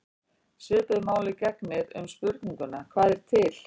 Svipuðu máli gegnir um spurninguna: Hvað er til?